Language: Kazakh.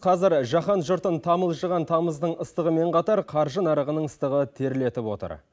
қазір жаһан жұртын тамылжыған тамыздың ыстығымен қатар қаржы нарығының ыстығы терлетіп отыр